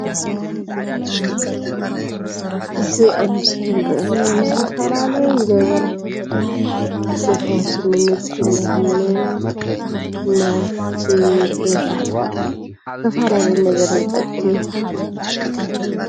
እዚ ኣብ ምስሊ ንሪኦ ዘለና ንዝተፈላለዩ ነገራት ዝጠቅም ንፈውሲ፣ ንምግብነት ንናውቲ ገዛ ተፋላለየ ነገር ዝጠቅምን ታይ ይባሃል?